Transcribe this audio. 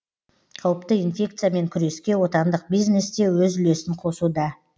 қауіпті инфекциямен күреске отандық бизнес те өз үлесін қосуда